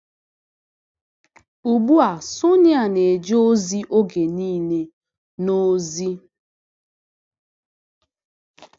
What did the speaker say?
Ugbu a Sonịa na-eje ozi oge nile n’ozi.